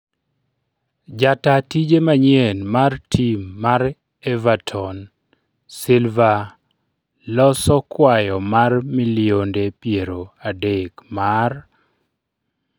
Jata tije manyien mar tim mar Everton Silva loso kwayo mar milionde piero adek mar